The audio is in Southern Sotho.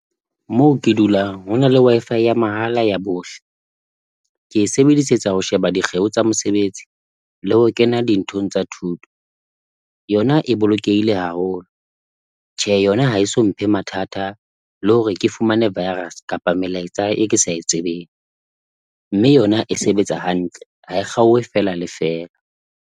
Moo ke dulang hona le Wi-Fi ya mahala ya bohle, ke e sebedisetsa ho sheba dikgeo tsa mosebetsi le ho kena dinthong tsa thuto. Yona e bolokehile haholo, tjhe yona ha e so mphe mathata le hore ke fumane virus kapa melaetsa e ke sa e tsebeng mme yona e sebetsa hantle, ha e kgaohe feela le feela.